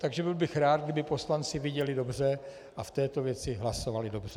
Takže byl bych rád, kdyby poslanci viděli dobře a v této věci hlasovali dobře.